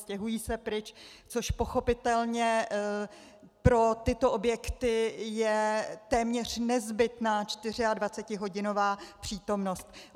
Stěhují se pryč, což pochopitelně pro tyto objekty je téměř nezbytná 24hodinová přítomnost.